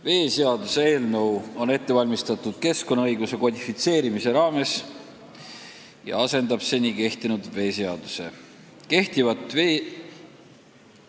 Veeseaduse eelnõu on ette valmistatud keskkonnaõiguse kodifitseerimise raames ja selle eesmärk on asendada seni kehtiv veeseadus.